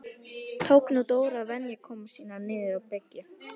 Tók nú Dór að venja komur sínar niður á bryggju.